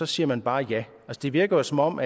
siger man bare ja det virker jo som om